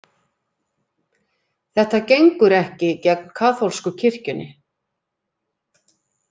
Þetta gengur ekki gegn kaþólsku kirkjunni